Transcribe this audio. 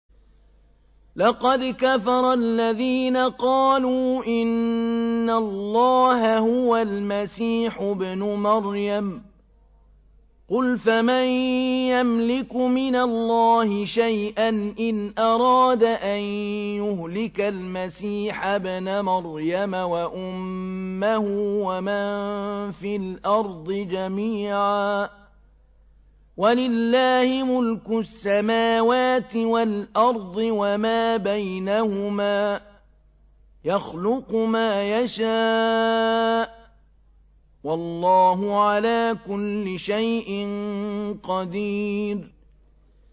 لَّقَدْ كَفَرَ الَّذِينَ قَالُوا إِنَّ اللَّهَ هُوَ الْمَسِيحُ ابْنُ مَرْيَمَ ۚ قُلْ فَمَن يَمْلِكُ مِنَ اللَّهِ شَيْئًا إِنْ أَرَادَ أَن يُهْلِكَ الْمَسِيحَ ابْنَ مَرْيَمَ وَأُمَّهُ وَمَن فِي الْأَرْضِ جَمِيعًا ۗ وَلِلَّهِ مُلْكُ السَّمَاوَاتِ وَالْأَرْضِ وَمَا بَيْنَهُمَا ۚ يَخْلُقُ مَا يَشَاءُ ۚ وَاللَّهُ عَلَىٰ كُلِّ شَيْءٍ قَدِيرٌ